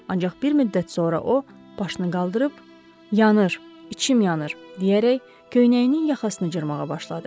Ancaq bir müddət sonra o, başını qaldırıb yanır, içim yanır deyərək köynəyinin yaxasını cırmağa başladı.